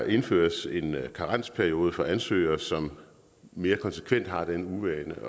indføres en karensperiode for ansøgere som mere konsekvent har den uvane